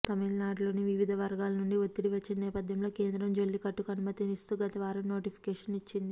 తమిళనాడులోని వివిధ వర్గాల నుండి వత్తిడి వచ్చిన నేపథ్యంలో కేంద్రం జల్లికట్టుకు అనుమతిస్తూ గత వారం నోటిఫికేషన్ ఇచ్చింది